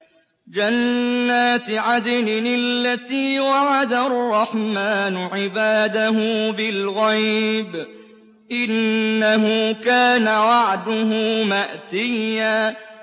جَنَّاتِ عَدْنٍ الَّتِي وَعَدَ الرَّحْمَٰنُ عِبَادَهُ بِالْغَيْبِ ۚ إِنَّهُ كَانَ وَعْدُهُ مَأْتِيًّا